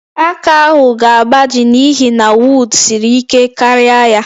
Aka ahụ ga-agbaji n'ihi na wod siri ike karịa ya